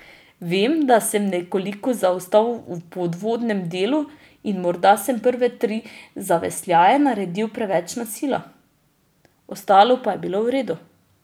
Vem, da sem nekoliko zaostal v podvodnem delu in morda sem prve tri zavesljaje naredil preveč na silo, ostalo pa je bilo v redu.